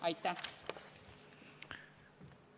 Aitäh!